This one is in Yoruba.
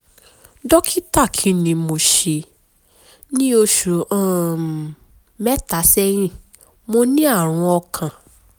dókítà kí ni mo ṣe? ní oṣù um mẹ́ta sẹ́yìn mo ní àrùn ọkàn